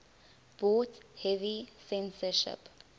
brought heavy censorship